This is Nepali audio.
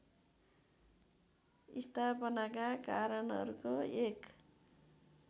स्थापनाका कारणहरूको एक